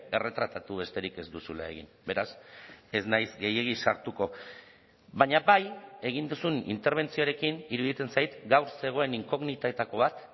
erretratatu besterik ez duzula egin beraz ez naiz gehiegi sartuko baina bai egin duzun interbentzioarekin iruditzen zait gaur zegoen inkognitetako bat